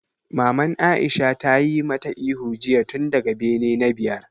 Maman Aisha ta yi ma ta ihu jiya tun daga bene na biyar!